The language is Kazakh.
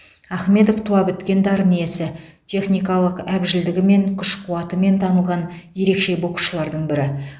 ахмедов туа біткен дарын иесі техникалық әбжілдігімен күш қуатымен танылған ерекше боксшылардың бірі